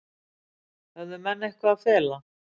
Höfðu menn eitthvað að fela?